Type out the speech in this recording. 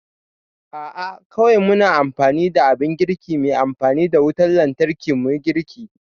A'a kawai muna amfani da abin girki mai amfani da wutan lantarki muyi girki